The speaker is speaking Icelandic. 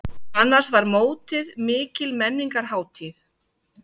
Annars var mótið mikil menningarhátíð.